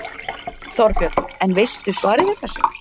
Þorbjörn: En veistu svarið við þessu?